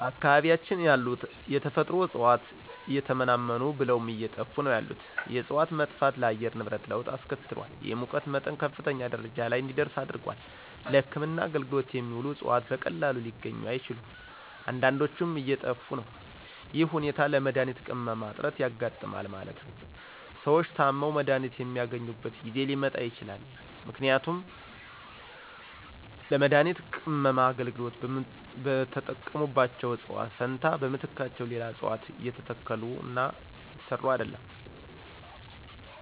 በአካባቢያችን ያሉ የተፈጥሮ እጽዋት እየተመናመኑ ብለውም አየጠፉ ነው ያሉት የእጽዋት መጥፋት ለአየር ንብረት ለወጥ አስከትሏል የሙቀት መጠን ከፍተኛ ደረጃ ለይ እንዲደርስ አድርጓል። ለህክምና አገልግሎት የሚውሉት እጽዋት በቀላሉ ሊገኙ አይችሉም አንዳዶችም እየጠፊ ነው ይህ ሁኔታ ለመድሀኒት ቅመማ እጥረት ያጋጥማል ማለት ነው። ሰዎች ታመው መድሀኒት የማያገኙበት ጊዜ ሊመጣ ይችላል ምክንያቱም ለመድሀኒት ቅመማ አገልግሎት በተጠቀሙባቸው እጽዋት ፈንታ በምትካቸው ሌላ እጽዋት አልተተከሉምና ነው።